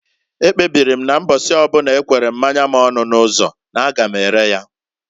Ekpebiri m na mbọsi ọbụna ekwere mmanya m ọnụ n'ụzọ n'a ga m ere ya.